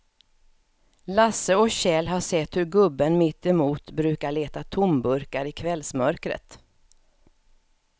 Lasse och Kjell har sett hur gubben mittemot brukar leta tomburkar i kvällsmörkret.